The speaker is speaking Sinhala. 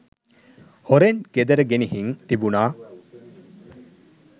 හොරෙන් ගෙදර ගෙනිහිං තිබුණා.